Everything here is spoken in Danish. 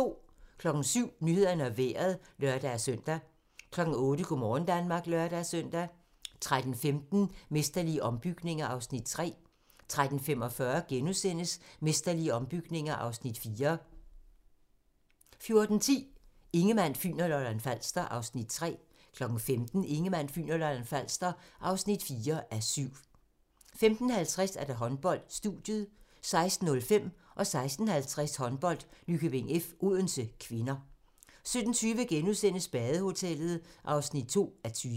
07:00: Nyhederne og Vejret (lør-søn) 08:00: Go' morgen Danmark (lør-søn) 13:15: Mesterlige ombygninger (Afs. 3) 13:45: Mesterlige ombygninger (Afs. 4)* 14:10: Ingemann, Fyn og Lolland-Falster (3:7) 15:00: Ingemann, Fyn og Lolland-Falster (4:7) 15:50: Håndbold: Studiet 16:05: Håndbold: Nykøbing F.-Odense (k) 16:50: Håndbold: Nykøbing F.-Odense (k) 17:20: Badehotellet (2:20)*